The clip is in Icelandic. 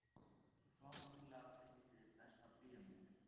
fáránlega fyndið Besta bíómyndin?